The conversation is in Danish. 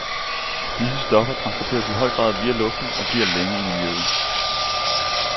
Disse stoffer transporteres i høj grad via luften og bliver længe i miljøet.